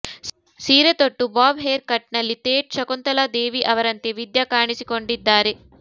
ಸೀರೆ ತೊಟ್ಟು bob haircut ನಲ್ಲಿ ಥೇಟ್ ಶಕುಂತಲಾ ದೇವಿ ಅವರಂತೆ ವಿದ್ಯಾ ಕಾಣಿಸಿಕೊಂಡಿದ್ದಾರೆ